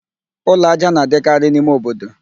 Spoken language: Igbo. Ụlọ ájá na-adịkarị n'ime obodo